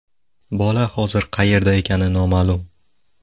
Bola hozir qayerda ekani noma’lum.